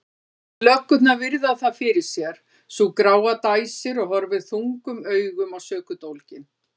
Löggurnar virða það fyrir sér, sú gráa dæsir og horfir þungum augum á sökudólginn.